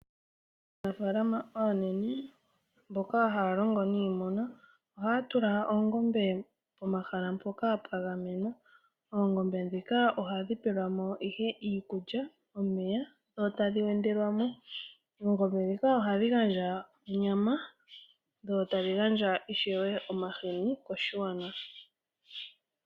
Aanafaalama aanene mboka haya longo niimuna ohaya tula oongombe pomahala mpoka pwagamenwa . oongombe ndhika ohadhi pelwama iihe iikulya ,omeya dho tadhi wendelwamo. Oongombe ndhika ohadhi gandja onyama dho tadhi gandja onyama sho tadhi gandja ishewe omahini